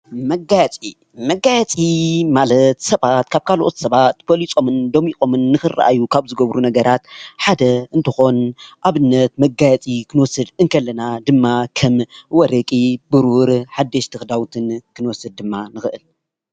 መጋየፂ :-መጋየፂ ማለት ሰባት ካብ ካልኦት ሰባት በሊፆምን ደሚቆምን ንኽረኣዩ ካብ ዝገብሩ ነገራት ሓደ እንትኾን ኣብነት መጋየፂ ክንወስድ እንከለና ድማ ከም ወርቂ፣ ብሩር ሓደሽቲ ኽዳውንትን ክንወስድ ድማ ንኽእል።